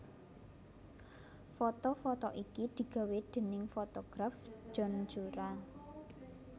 Foto foto iki digawé déning fotograf John Cura